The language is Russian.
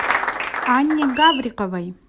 анне гавриковой